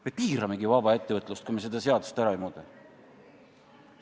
Me piiramegi vaba ettevõtlust, kui me seda seadust ära ei muuda.